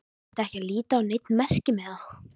Þyrfti ekki að líta á neinn merkimiða.